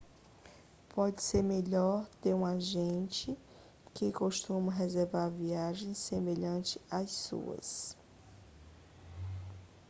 pode ser melhor ter um agente que costuma reservar viagens semelhantes às suas